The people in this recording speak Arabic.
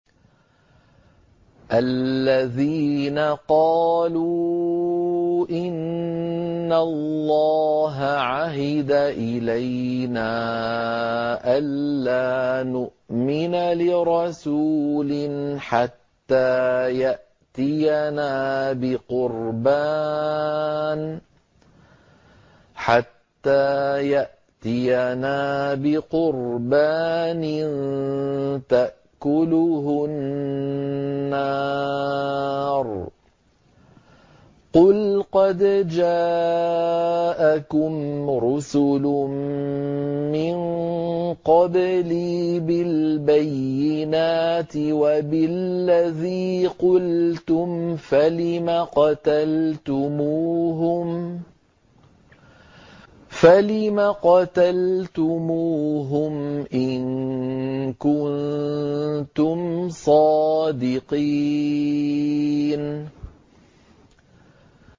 الَّذِينَ قَالُوا إِنَّ اللَّهَ عَهِدَ إِلَيْنَا أَلَّا نُؤْمِنَ لِرَسُولٍ حَتَّىٰ يَأْتِيَنَا بِقُرْبَانٍ تَأْكُلُهُ النَّارُ ۗ قُلْ قَدْ جَاءَكُمْ رُسُلٌ مِّن قَبْلِي بِالْبَيِّنَاتِ وَبِالَّذِي قُلْتُمْ فَلِمَ قَتَلْتُمُوهُمْ إِن كُنتُمْ صَادِقِينَ